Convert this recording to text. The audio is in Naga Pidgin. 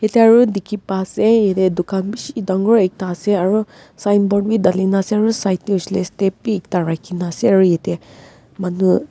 ekta road dekhi pai se yate dukan bishi dangor ekta ase aru sign board dali na ase aru side te hoisele step ekta rakhina ase aru yate manu--